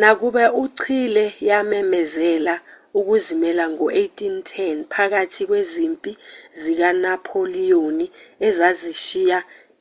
nakuba i-chile yamemezela ukuzimela ngo-1810 phakathi kwezimpi zikanapholiyoni ezashiya